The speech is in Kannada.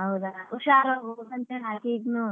ಹೌದಾ ಹುಷಾರಾಗಿ ಹೋಗ್ಬೇಕ್ ಹೇಳ್ ಆಕಿಗಿನ್ನೂ